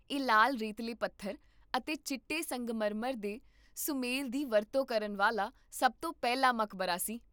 ਇਹ ਲਾਲ ਰੇਤਲੇ ਪੱਥਰ ਅਤੇ ਚਿੱਟੇ ਸੰਗਮਰਮਰ ਦੇ ਸੁਮੇਲ ਦੀ ਵਰਤੋਂ ਕਰਨ ਵਾਲਾ ਸਭ ਤੋਂ ਪਹਿਲਾ ਮਕਬਰਾ ਸੀ